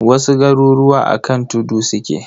Wasu garuruwa a kan tudu suke.